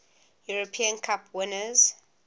european cup winners